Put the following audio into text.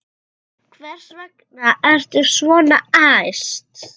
Hvers vegna ertu svona æst?